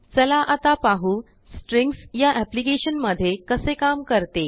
चला आता पाहूस्ट्रींग्सयाअेप्लिकेशनमध्येकसे काम करते